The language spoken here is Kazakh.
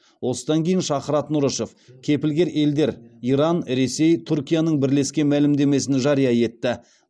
осыдан кейін шахрат нұрышев кепілгер елдер иран ресей түркияның бірлескен мәлімдемесін жария етті